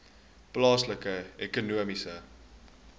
plaaslike ekonomiese